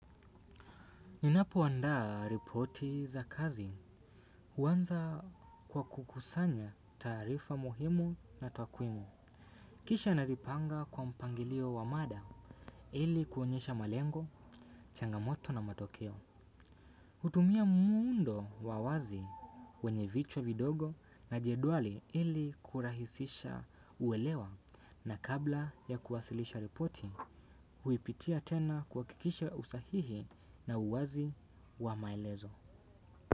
Ninapo andaa ripoti za kazi uanza kwa kukusanya taarifa muhimu na twakwimu. Kisha nazipanga kwa mpangilio wa mada ili kuonyesha malengo, changamoto na matokeo. Utumia muundo wa wazi wenye vichwa vidogo na jeduali ili kurahisisha uwelewa na kabla ya kuwasilisha ripoti huipitia tena kuhakikisha usahihi na uwazi wa maelezo.